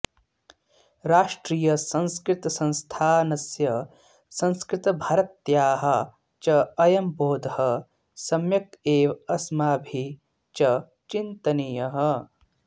राष्ट्रीयसंस्कृतसंस्थानस्य संस्कृतभारत्याः च अयम् बोधः सम्यक् एव अस्माभिः च चिन्तनीयः